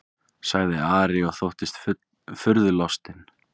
sagði Ari og þóttist furðulostinn.